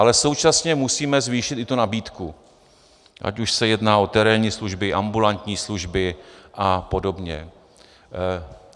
Ale současně musíme zvýšit i tu nabídku, ať už se jedná o terénní služby, ambulantní služby a podobně.